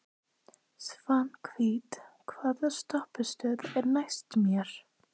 Svanhvít, hvaða stoppistöð er næst mér?